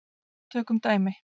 Tökum dæmi.